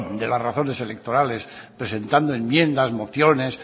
de las razones electorales presentando enmiendas mociones